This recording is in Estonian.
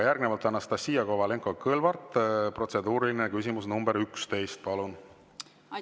Järgnevalt Anastassia Kovalenko‑Kõlvart, protseduuriline küsimus nr 11, palun!